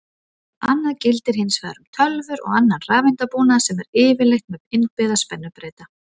Annað gildir hins vegar um tölvur og annan rafeindabúnað sem er yfirleitt með innbyggða spennubreyta.